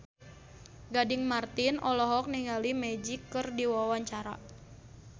Gading Marten olohok ningali Magic keur diwawancara